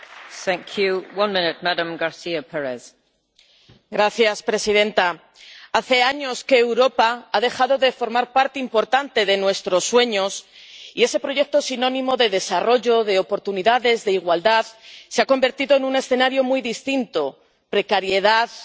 Señora presidenta, hace años que Europa ha dejado de formar parte importante de nuestros sueños, y ese proyecto, sinónimo de desarrollo, de oportunidades, de igualdad se ha convertido en un escenario muy distinto precariedad, austeridad, crisis económica.